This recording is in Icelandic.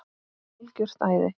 Algjört æði.